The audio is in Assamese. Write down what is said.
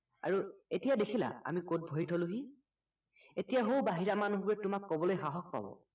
আৰু এতিয়া আমি কত ভৰি থলোহি এতিয়া সৌ বাহিৰা মানুহবোৰে তোমাক কবলৈ সাহস পাব